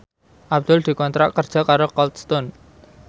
Abdul dikontrak kerja karo Cold Stone